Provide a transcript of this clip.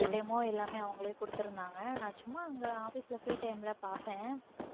இந்த demo எல்லாமே அவங்களே கொடுத்திருந்தாங்க நான் சும்மா அங்க office ல free time ல பார்ப்பேன்.